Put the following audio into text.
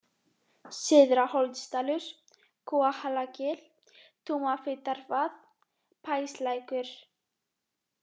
Syðra-Holtsdalur, Kúahalagil, Tumafitarvað, Báslækur